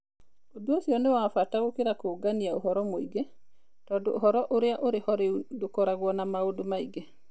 Ũndũ ũcio nĩ wa bata gũkĩra kũũngania ũhoro mũingĩ, tondũ ũhoro ũrĩa ũrĩ ho rĩu ndũkoragwo na maũndũ maingĩ.